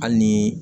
Hali ni